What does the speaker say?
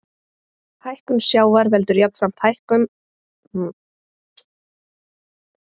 Hækkun sjávar veldur jafnframt hækkun á grunnvatnsstöðu sem aftur eykur innrennsli í fráveitukerfi.